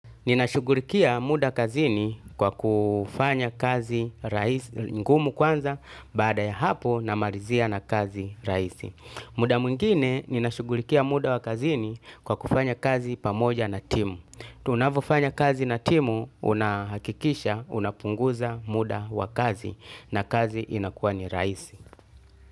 Ninashugulikia muda kazini kwa kufanya kazi ngumu kwanza baada ya hapo na malizia na kazi raisi. Muda mwingine ninashugulikia muda wa kazini kwa kufanya kazi pamoja na timu. Tunvofanya kazi na timu unahakikisha unapunguza muda wa kazi na kazi inakuwa ni raisi.